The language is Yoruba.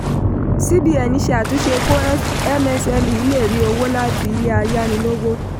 cbn ṣe àtúnṣe kó msme lè rí owó láti ilé ayánilówó.